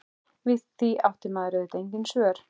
Við því átti maður auðvitað engin svör.